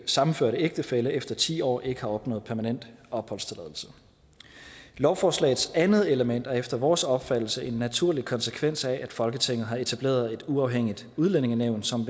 sammenførte ægtefælle efter ti år ikke har opnået permanent opholdstilladelse lovforslagets andet element er efter vores opfattelse en naturlig konsekvens af at folketinget har etableret et uafhængigt udlændingenævn som